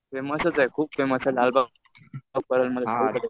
फेमसच आहेत. खूप फेमस आहे लालबागची